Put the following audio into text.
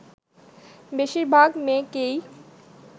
বেশিরভাগ মেয়েকেই